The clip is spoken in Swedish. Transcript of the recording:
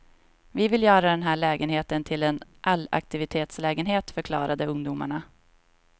Vi vill göra den här lägenheten till en allaktivitetslägenhet, förklarade ungdomarna.